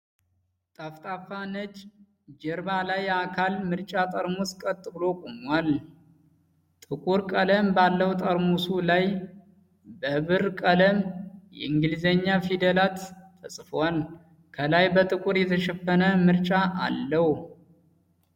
ጠፍጣፋ ነጭ ጀርባ ላይ አካል መርጫ ጠርሙስ ቀጥ ብሎ ቆሟል። ጥቁር ቀለም ባለው ጠርሙሱ ላይ በብር ቀለም የእንግሊዝኛ ፊደላት ተጽፈዋል። ከላይ በጥቁር የተሸፈነ መርጫ አለው።